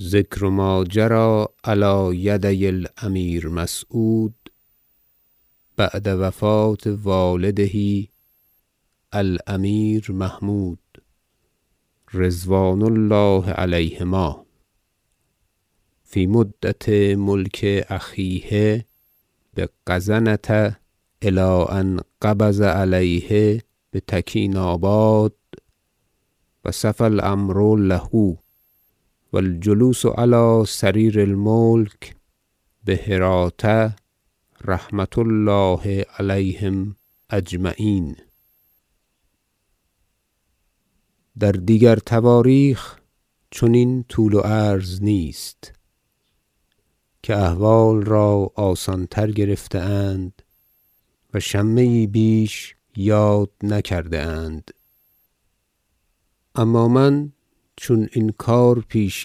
ذکر ما جری علی یدي الأمیر مسعود بعد وفاة والده الأمیر محمود -رضوان الله علیهما- فی مدة ملک أخیه بغزنة إلی أن قبض علیه بتکیناباد و صفا الأمر له و الجلوس علی سریر الملک بهراة -رحمة الله علیهم أجمعین - در دیگر تواریخ چنین طول و عرض نیست که احوال را آسانتر گرفته اند و شمه یی بیش یاد نکرده اند اما من چون این کار پیش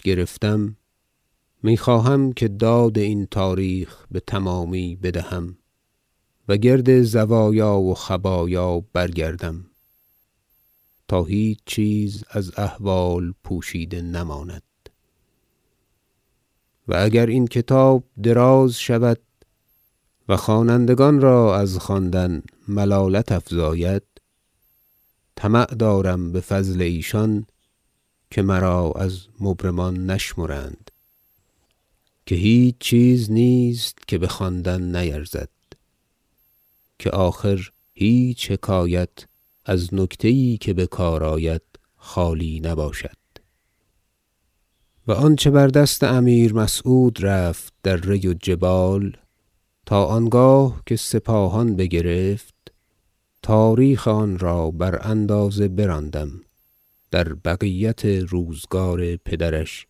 گرفتم می خواهم که داد این تاریخ بتمامی بدهم و گرد زوایا و خبایا برگردم تا هیچ چیز از احوال پوشیده نماند و اگر این کتاب دراز شود و خوانندگان را از خواندن ملالت افزاید طمع دارم به فضل ایشان که مرا از مبرمان نشمرند که هیچ چیز نیست که به خواندن نیرزد که آخر هیچ حکایت از نکته یی که به کار آید خالی نباشد و آنچه بر دست امیر مسعود رفت در ری و جبال تا آنگاه که سپاهان بگرفت تاریخ آن را بر اندازه براندم در بقیت روزگار پدرش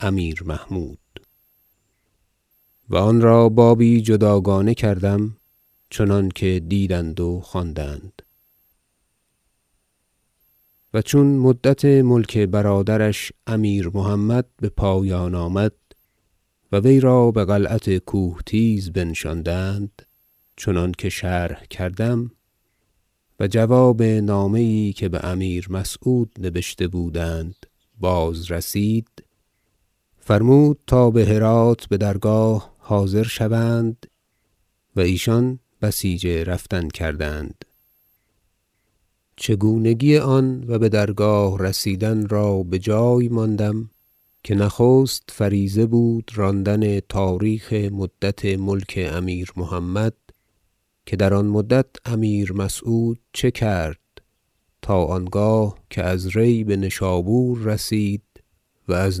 امیر محمود و آن را بابی جداگانه کردم چنانکه دیدند و خواندند و چون مدت ملک برادرش امیر محمد به پایان آمد و وی را به قلعت کوهتیز بنشاندند چنانکه شرح کردم و جواب نامه یی که به امیر مسعود نبشته بودند بازرسید فرمود تا به هرات به درگاه حاضر شوند و ایشان بسیچ رفتن کردند چگونگی آن و به درگاه رسیدن را به جای ماندم که نخست فریضه بود راندن تاریخ مدت ملک امیر محمد که در آن مدت امیر مسعود چه کرد تا آنگاه که از ری به نشابور رسید و از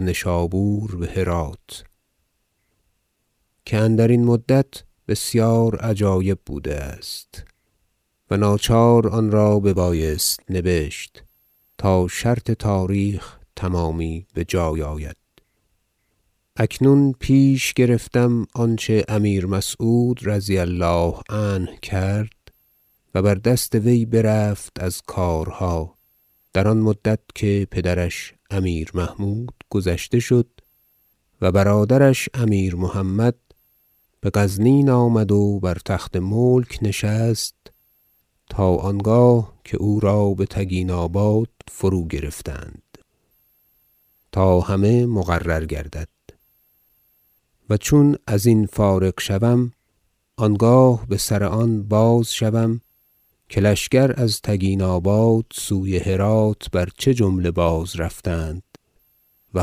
نشابور به هرات که اندرین مدت بسیار عجایب بوده است و ناچار آن را ببایست نبشت تا شرط تاریخ تمامی به جای آید اکنون پیش گرفتم آنچه امیر مسعود -رضی الله عنه- کرد و بر دست وی برفت از کارها در آن مدت که پدرش امیر محمود گذشته شد و برادرش امیر محمد به غزنین آمد و بر تخت ملک نشست تا آنگاه که او را به تگیناباد فروگرفتند تا همه مقرر گردد و چون ازین فارغ شوم آنگاه به سر آن باز شوم که لشکر از تگیناباد سوی هراة بر چه جمله بازرفتند و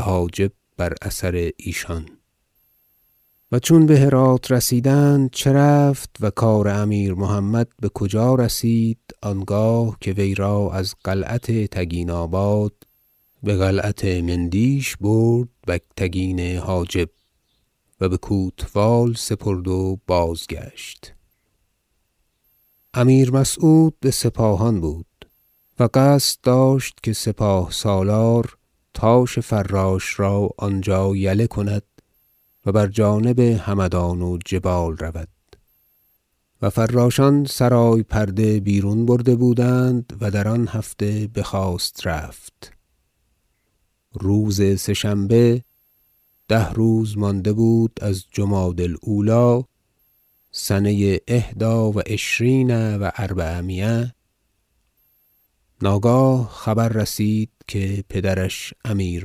حاجب بر اثر ایشان و چون به هراة رسیدند چه رفت و کار امیر محمد به کجا رسید آنگاه که وی را از قلعت تگیناباد به قلعت مندیش برد بگتگین حاجب و به کوتوال سپرد و بازگشت امیر مسعود به سپاهان بود و قصد داشت که سپاه سالار تاش فراش را آنجا یله کند و بر جانب همدان و جبال رود و فراشان سرای پرده بیرون برده بودند و در آن هفته بخواست رفت روز سه شنبه ده روز مانده بود از جمادی الاولی سنه إحدی و عشرین و أربعمایه ناگاه خبر رسید که پدرش امیر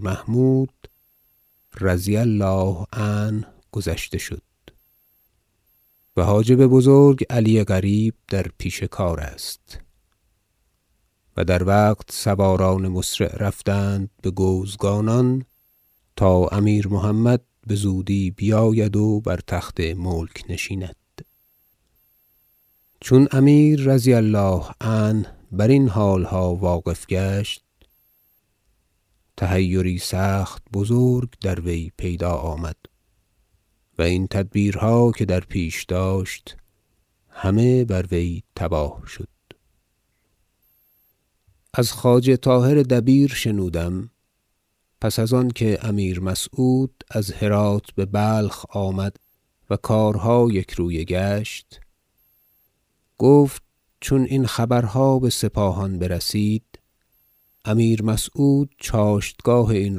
محمود -رضی الله عنه- گذشته شد و حاجب بزرگ علی قریب در پیش کار است و در وقت سواران مسرع رفتند به گوزگانان تا امیر محمد بزودی بیاید و بر تخت ملک نشیند چون امیر -رضی الله عنه- برین حالها واقف گشت تحیری سخت بزرگ در وی پیدا آمد و این تدبیرها که در پیش داشت همه بر وی تباه شد از خواجه طاهر دبیر شنودم پس از آنکه امیر مسعود از هراة به بلخ آمد و کارها یکرویه گشت گفت چون این خبرها به سپاهان برسید امیر مسعود چاشتگاه این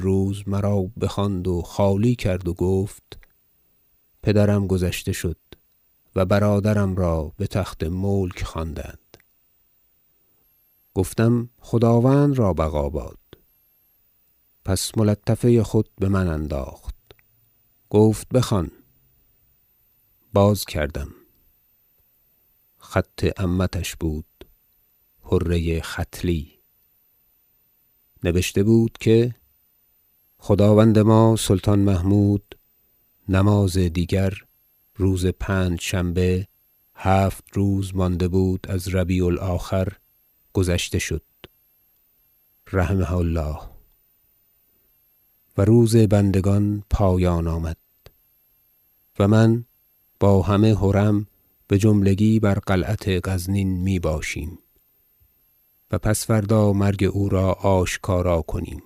روز مرا بخواند و خالی کرد و گفت پدرم گذشته شد و برادرم را به تخت ملک خواندند گفتم خداوند را بقا باد پس ملطفه خود به من انداخت گفت بخوان باز کردم خط عمتش بود حره ختلی نبشته بود که خداوند ما سلطان محمود نماز دیگر روز پنجشنبه هفت روز مانده بود از ربیع الآخر گذشته شد -رحمه الله- و روز بندگان پایان آمد و من با همه حرم بجملگی بر قلعت غزنین می باشیم و پس فردا مرگ او را آشکارا کنیم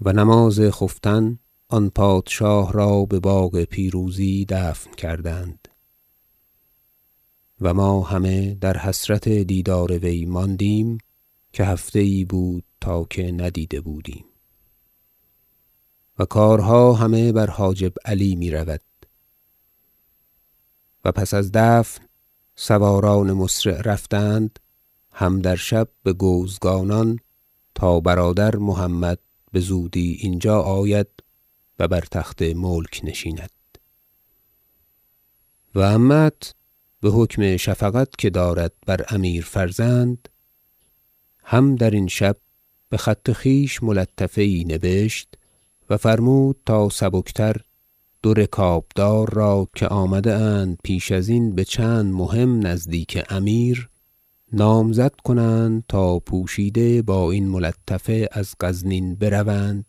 و نماز خفتن آن پادشاه را به باغ پیروزی دفن کردند و ما همه در حسرت دیدار وی ماندیم که هفته یی بود تا که ندیده بودیم و کارها همه بر حاجب علی می رود و پس از دفن سواران مسرع رفتند هم در شب به گوزگانان تا برادر محمد بزودی اینجا آید و بر تخت ملک نشیند و عمه ت به حکم شفقت که دارد بر امیر فرزند هم در این شب به خط خویش ملطفه یی نبشت و فرمود تا سبک تر دو رکابدار را که آمده اند پیش ازین به چند مهم نزدیک امیر نامزد کنند تا پوشیده با این ملطفه از غزنین بروند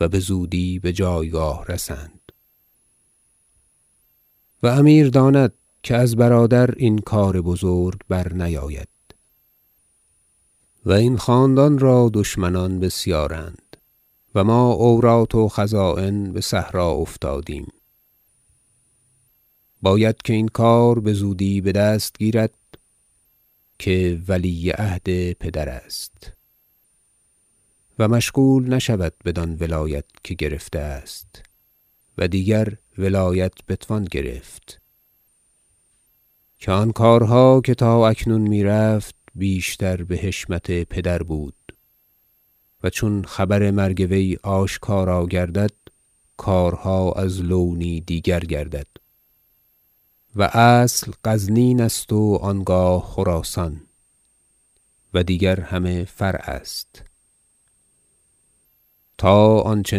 و بزودی به جایگاه رسند و امیر داند که از برادر این کار بزرگ برنیاید و این خاندان را دشمنان بسیارند و ما عورات و خزاین به صحرا افتادیم باید که این کار بزودی به دست گیرد که ولی عهد پدر است و مشغول نشود بدان ولایت که گرفته است و دیگر ولایت بتوان گرفت که آن کارها که تا اکنون می رفت بیشتر به حشمت پدر بود و چون خبر مرگ وی آشکارا گردد کارها از لونی دیگر گردد و اصل غزنین است و آنگاه خراسان و دیگر همه فرع است تا آنچه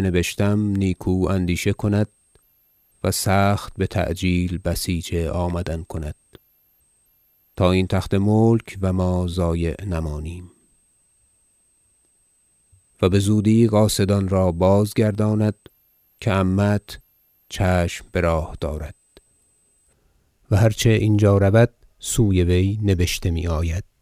نبشتم نیکو اندیشه کند و سخت بتعجیل بسیج آمدن کند تا این تخت ملک و ما ضایع نمانیم و بزودی قاصدان را بازگرداند که عمه ت چشم به راه دارد و هر چه اینجا رود سوی وی نبشته می آید